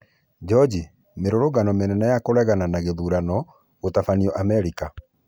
Joji: Mĩrũrũngano mĩnene ya kũregana na gũthutũkanio gũtabanio Amerika.